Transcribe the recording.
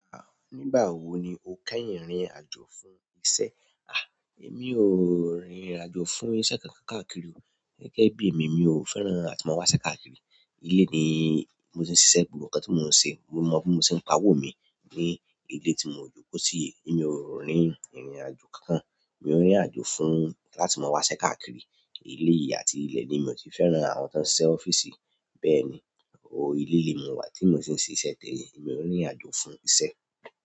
Nígbà wo ni o kẹ́yin rìnrìn àjò fún iṣẹ́? A! Èmi ò rìnrìn àjò fún iṣẹ́ kankan káàkiri o. Gẹ́gẹ́ bí èmi, mi ò fẹ́ràn àti máa wásẹ́ káàkiri. Ilé ni mo ti ń ṣisẹ́, gbogbo nǹkan tí mò ń se, mo mọ bí mo ti ń pa owó mi ní ilé tí mò jókòó sí yi. Èmi ò rin ìrìnàjò kan kan. Mi ó n rìnrìn àjò fún láti máa wáṣẹ́ káàkiri. Eléyìí àti ilẹ̀ ni mi ò ti fẹ́ran àwọn tó ń ṣí ọ́fíìsì. Bẹ́ẹ̀ni, ilé ni mo wà tí mo ti ń ṣiṣẹ́ tèmi. Máa i ò rìnrìn àjò fún iṣẹ́.